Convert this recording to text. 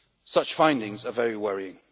Such findings are very worrying.